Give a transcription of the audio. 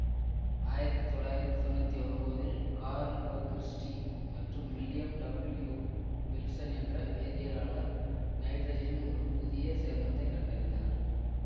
ஆயிரத்தி தொள்ளாயிரத்தி தொன்னூத்தி ஒன்பதில் கார்ல் ஒ கிறிஸ்டி மற்றும் வில்லியம் டபில்யூ வில்சன் என்ற வேதியியலார் நைட்ரஜனின் ஒரு புதிய சேர்மத்தை கண்டறிந்தனர்